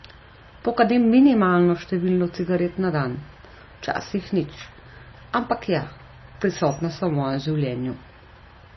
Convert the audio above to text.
Pokadim minimalno število cigaret na dan, včasih nič, ampak ja, prisotne so v mojem življenju.